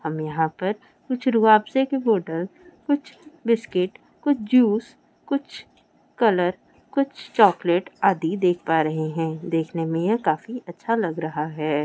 हम यहाँ पर कुछ रूह अफ्जा की बोटले कुछ बिस्किट कुछ जूस कुछ कलर कुछ चॉकलेट अदि देख पा रहे है देखने में यह काफी अच्छा लग रहा है।